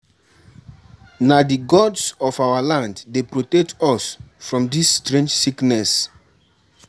Na di gods of our land dey protect us from dis strange sickness.